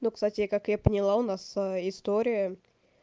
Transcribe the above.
ну кстати я как я поняла у нас история